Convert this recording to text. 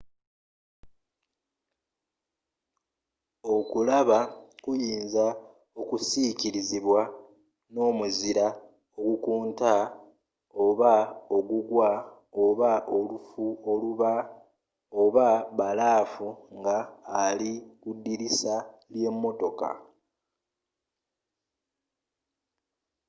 okulaba kuyinza okusiikirizibwa n'omuzira ogukunta oba ogugwa oba olufu oba bbalaafu nga ali ku ddirisa ly'emmotoka